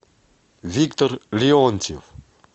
виктор леонтьев